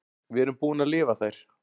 Við erum búin að lifa þær.